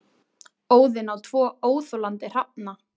Óðinn á tvo óþolandi hrafna.